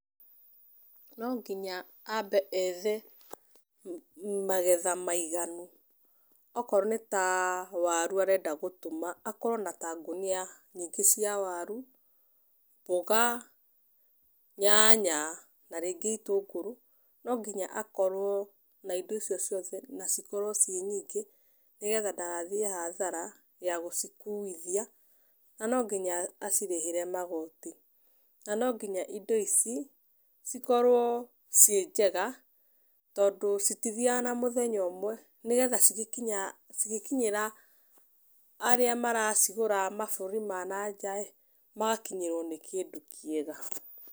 No nginya aambe ethe magetha maiganu. Okorwo nĩ ta waru arenda gũtũma, akorwo na ngũnia nyingĩ cia waru, mboga, nyanya na rĩngĩ itũngũrũ. No nginya akorwo na indo icio ciothe na cikorwo ciĩ nyingĩ, nĩgetha ndagathiĩ hathara ya gũcikuithia. Na no nginya acirĩhĩre magoti. Na no nginya indo ici, cikorwo ciĩ njega, tondũ citithiaga na mũthenya ũmwe, nĩgetha cigĩkinya cigĩkinyĩra arĩa maracigũra mabũrũri ma na nja ĩĩ, magakinyĩrwo nĩ kĩndũ kĩega.